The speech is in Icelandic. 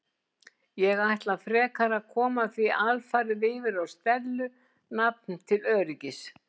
Ég ætla frekar að koma því alfarið yfir á Stellu nafn til öryggis.